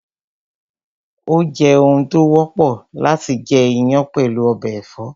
Ó jẹ́ oun tó wọ́pọ̀ láti jẹ iyán pẹ̀lú ọbẹ̀ ẹ̀fọ́